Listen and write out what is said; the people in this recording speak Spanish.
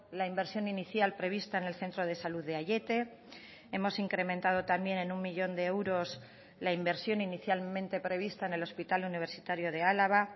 la inversión inicial prevista en el centro de salud de aiete hemos incrementado también en uno millón de euros la inversión inicialmente prevista en el hospital universitario de álava